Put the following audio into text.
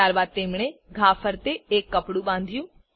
ત્યારબાદ તેમણે ઘા ફરતે એક કપડું બાંધ્યું